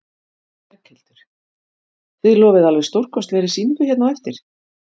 Berghildur: Þið lofið alveg stórkostlegri sýningu hérna á eftir?